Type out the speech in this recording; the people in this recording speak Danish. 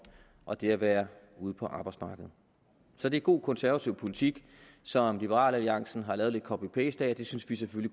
og det at være ude på arbejdsmarkedet så det er god konservativ politik som liberal alliance har lavet lidt copy paste af og det synes vi